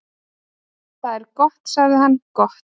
"""Það er gott sagði hann, gott"""